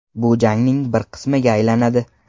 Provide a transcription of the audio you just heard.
Bu jangning bir qismiga aylanadi.